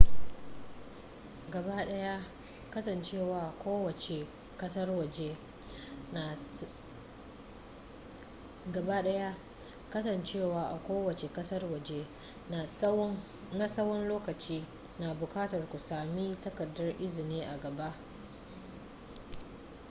gabaɗaya kasancewa a kowace ƙasar waje na tsawan lokaci na buƙatar ku sami takardar izini a gaba